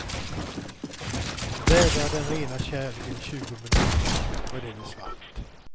Vädra den rena kärleken i tjugo minuter, och den är svart.